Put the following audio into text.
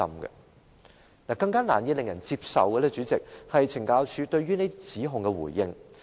主席，令人更難以接受的，就是懲教署對指控作出的回應。